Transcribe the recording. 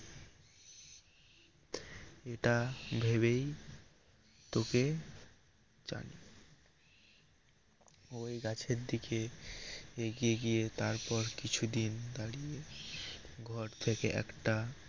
এটা ভেবেই তোকে ওই গাছেই দিকে এগিয়ে গিয়ে তারপর কিছুদিন দাঁড়িয়ে ঘর থেকে একটা